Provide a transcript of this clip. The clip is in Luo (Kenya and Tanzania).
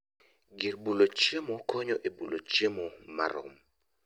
Gir bulo chiemo konyo e bulo chiemo marom